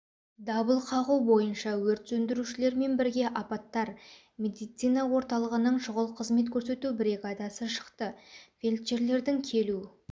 дабыл қағу бойынша өрт сөндірушілермен бірге апаттар медицина орталығының шұғыл қызмет көрсету бригадасы шықты фельдшерлердің келу